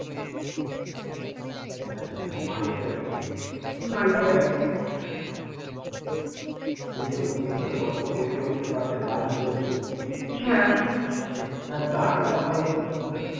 আচ্ছা, multi tasking এই যে বন্ধুদের সঙ্গে গল্প করতে করতে পাশে গান চলছে গানটা ভালকরে শুনতে